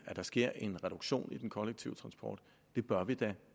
sker en reduktion i den kollektive transport det bør vi da